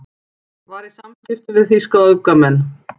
Var í samskiptum við þýska öfgamenn